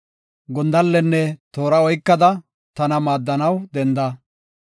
Gondallenne toora oykada, tana maaddanaw denda.